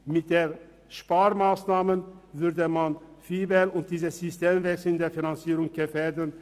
Mit der Sparmassnahme würde man VIBEL und den Systemwechsel in der Finanzierung gefährden.